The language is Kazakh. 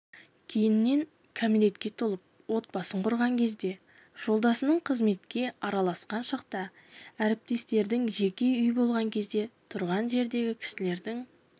кейіннен кәмелетке толып отбасын құрған кезде жолдасының қызметке араласқан шақта әріптестердің жеке үй болған кезде тұрған жердегі кісілердің